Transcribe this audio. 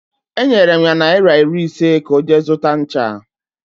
Enyere m ya naịra iri ise ka ọ jee zụta ncha